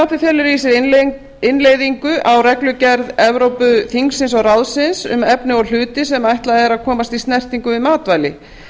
frumvarpið felur í sér innleiðingu á reglugerð evrópuþingsins og ráðsins um efni og hluti sem ætlað er að komast í snertingu við matvæli